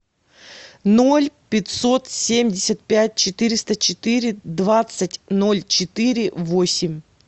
ноль пятьсот семьдесят пять четыреста четыре двадцать ноль четыре восемь